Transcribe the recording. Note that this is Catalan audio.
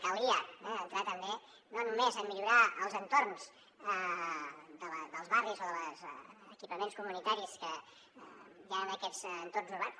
calia entrar també no només a millorar els entorns dels barris o dels equipaments comunitaris que hi han en aquests entorns urbans